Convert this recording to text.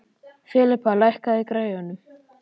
Filippa, lækkaðu í græjunum.